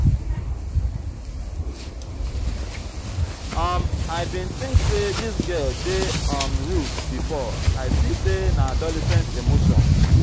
um i bin tink sey dis girl dey um rude before i see sey na adolescent emotion.